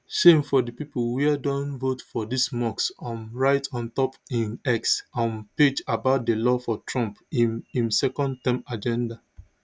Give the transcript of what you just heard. shame for di pipo wia don vote for dis musk um write on top im x um page about di law for trump im im secondterm agenda